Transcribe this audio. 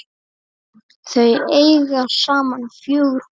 Þau eiga saman fjögur börn.